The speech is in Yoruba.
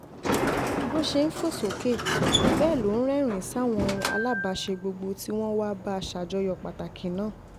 bó ṣe ń fò sókè bẹ́ẹ̀ ló rẹ́rìn-ín sáwọn aláàbáṣe gbogbo tí wọ́n wàá bá a ṣàjọyọ̀ pàtàkì náà